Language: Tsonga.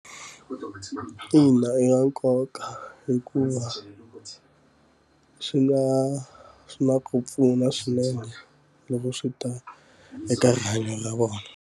Ina i swa nkoka hikuva swi nga swi na ku pfuna swinene loko swi ta eka rihanyo ra vona.